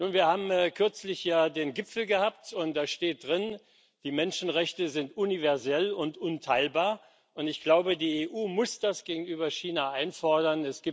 Wir haben kürzlich ja den Gipfel gehabt, und da steht drin Die Menschenrechte sind universell und unteilbar, und ich glaube, die EU muss das gegenüber China einfordern.